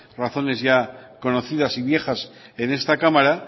razones ya conocidas y viejas en esta cámara